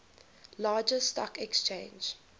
largest stock exchange